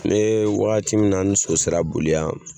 Ne wagati min na ni so sera boli yan